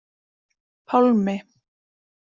Pálmi